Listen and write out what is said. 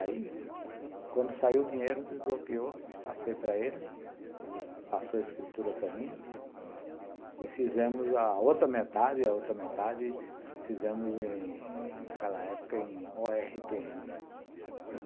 Aí, quando saiu o dinheiro, desbloqueou, passei para ele, ele passou a escritura para mim, e fizemos a outra metade, e a outra metade fizemos naquela época em o erre tê ene